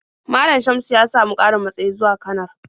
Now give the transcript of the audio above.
Malam Shamsu ya samu ƙarin matsayi zuwa kanar.